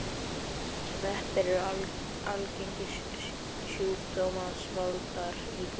Sveppir eru algengir sjúkdómsvaldar í húð.